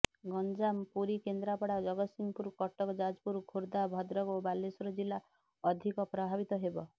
ଗଞ୍ଜାମ ପୁରୀ କେନ୍ଦ୍ରାପଡ଼ା ଜଗତ୍ସିଂହପୁର କଟକ ଯାଜପୁର ଖୋର୍ଧା ଭଦ୍ରକ ଓ ବାଲେଶ୍ବର ଜିଲ୍ଲା ଅଧିକ ପ୍ରଭାବିତ ହେବ